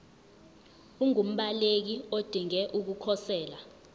ungumbaleki odinge ukukhosela